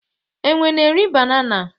enwe na eri banana